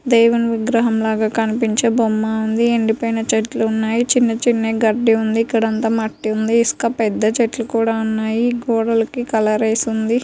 దేవుని విగ్రహంలాగా కనిపించే బొమ్మ ఉంది. ఎండిపోయిన చెట్లున్నాయి. చిన్న చిన్న గడ్డి ఉంది. ఇక్కదంతా మట్టి ఉంది. ఇసుక పెద్ద చెట్లు కూడా ఉన్నాయి. గోడలకి కలర్ ఏసుంది.